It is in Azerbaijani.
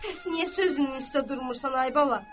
Bəs niyə sözünün üstə durmursan, ay bala?